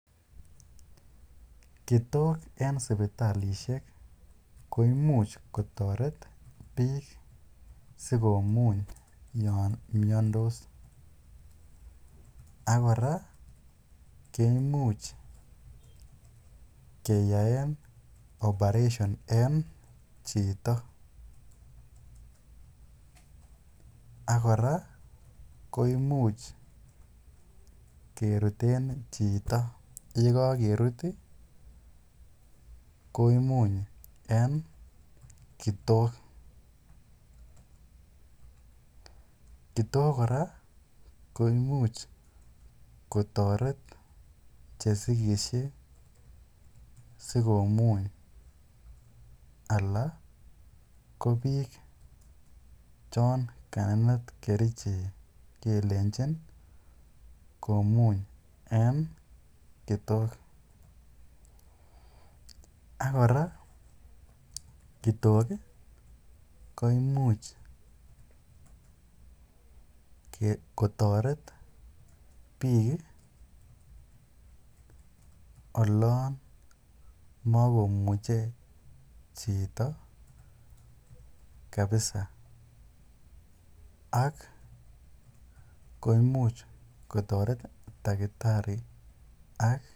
kitok en sipitalishek koimuch kotoret biik sikomuny yoon miondos ak kora koimuchkeyaen operation en chito, ak kora koimuch keruten chito, yekokerut komuny en kitok, kitok kora koimuch kotoret chesikishe sikomuny alaan ko biik chon kanenet kerichek kelenchin komuny en kitok ak kora kitok koimuch kotoret biik oloon mokomuche chito kabisa ak koimuch kotoret takitari ak.